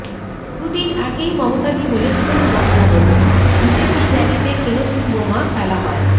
দুদিন আগেই মমতাদি বলেছিলেন বদলা নেব বিজেপির ব়্যালিতে কেরোসিন বোমা ফেলা হয়